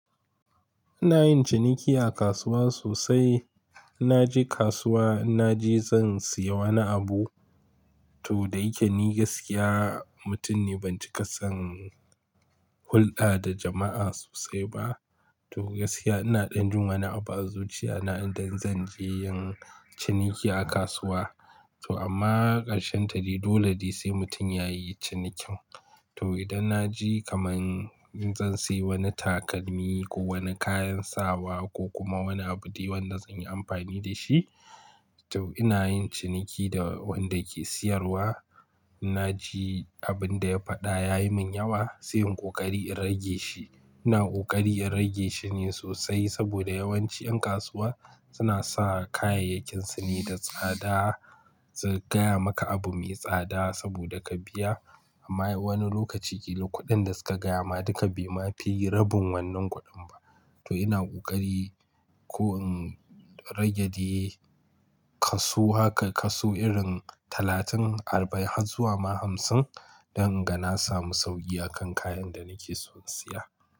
Ina yin ciniki a kasuwa sosai. In na je kasuwa, in na je zan siya wani abu, to da yake ni gaskiya mutum ne ban ci ƙa son hulɗa da jama'a sosai ba. To gaskiya ina ɗan jin wani abu a zuciyata in dai zan je yin ciniki a kasuwa. To amma ƙarshen ta dai dole dai sai mutum ya yi cinikin. To idan na je kamar zan siya wani takalmi ko wani kayan sawa ko kuma wani abu dai wadda zan yi amfani da shi, to ina yin ciniki da wadda ke siyarwa. In na ji abin da ya faɗa ya yi min yawa, sai in yi ƙoƙari in rage shi. Ina ƙoƙari in rage shi ne sosai saboda yawanci ƴan kasuwa suna sa kayayyakinsu ne da tsada. Su gaya maka abu mai tsada saboda ka biya. Amma wani lokaci kilo kuɗin da suka gaya ma duka bai ma fi rabin wannan kuɗin ba. To ina ƙoƙari ko in rage dai kasu haka kasu irin talatin, arba'in har zuwa ma hamsin don in ga na samu sauƙi a kan kayan da nake so in siya.